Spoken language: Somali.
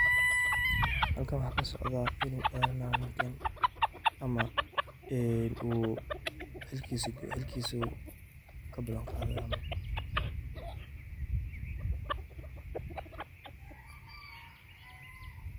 Halkan waxa kasocda inu dharanayan ninkan ama uu xilikisu uu kabalan qaadayo camal